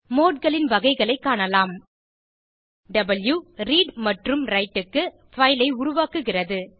modeகளின் வகைகளைக் காணலாம் வாவ் ரீட் மற்றும் விரைட் க்கு பைல் ஐ உருவாக்குகிறது